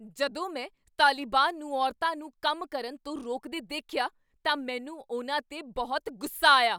ਜਦੋਂ ਮੈਂ ਤਾਲਿਬਾਨ ਨੂੰ ਔਰਤਾਂ ਨੂੰ ਕੰਮ ਕਰਨ ਤੋਂ ਰੋਕਦੇ ਦੇਖਿਆ, ਤਾਂ ਮੈਨੂੰ ਉਨ੍ਹਾਂ 'ਤੇ ਬਹੁਤ ਗੁੱਸਾ ਆਇਆ।